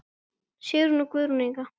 Sigrún og Guðrún Inga.